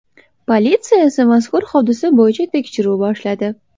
Politsiya esa mazkur hodisa bo‘yicha tekshiruv boshladi.